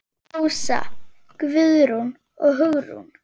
Ása, Guðrún og Hugrún.